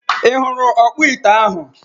I huru okpo ite ahu?